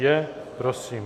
Je, prosím.